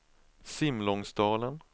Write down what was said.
Simlångsdalen